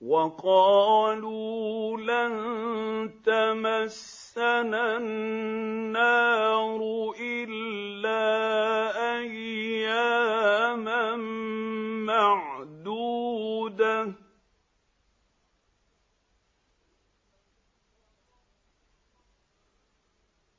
وَقَالُوا لَن تَمَسَّنَا النَّارُ إِلَّا أَيَّامًا مَّعْدُودَةً ۚ